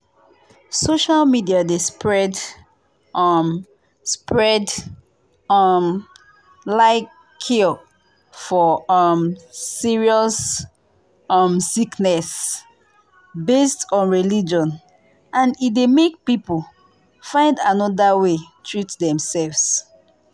social media dey spread um spread um lie cure for um serious um sickness based on religion and e dey make people find another way treat demself.